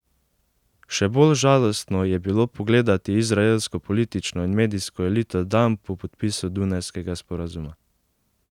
Še bolj žalostno je bilo pogledati izraelsko politično in medijsko elito dan po podpisu dunajskega sporazuma.